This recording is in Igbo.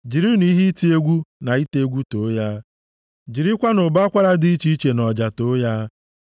jirinụ ihe iti egwu na ite egwu too ya, jirikwanụ ụbọ akwara dị iche iche na ọja too ya,